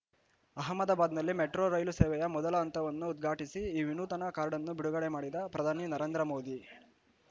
ಅಹ್ಮದಾಬಾದ್‌ನಲ್ಲಿ metro ರೈಲು ಸೇವೆಯ ಮೊದಲ ಹಂತವನ್ನು ಉದ್ಘಾಟಿಸಿ ಈ ವಿನೂತನ ಕಾರ್ಡ್‌ನ್ನು ಬಿಡುಗ‌ಡೆ ಮಾಡಿದ ಪ್ರಧಾನಿ ನರೇಂದ್ರಮೋದಿ